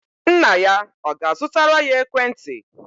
Nna ya ọ ga-azụtara ya ekwentị?